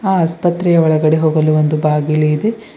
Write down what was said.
ಆಸ್ಪತ್ರೆಯ ಒಳಗಡೆ ಹೋಗಲು ಒಂದು ಬಾಗಿಲು ಇದೆ.